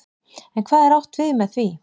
En hvað er átt við með því?